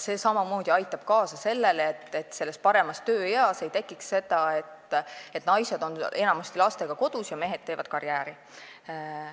See aitab samamoodi kaasa sellele, et kõige paremas tööeas ei tekiks seda, et naised on enamasti lastega kodus ja mehed teevad karjääri.